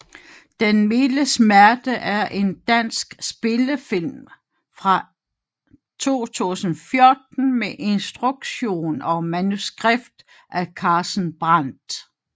Den milde smerte er en dansk spillefilm fra 2014 med instruktion og manuskript af Carsten Brandt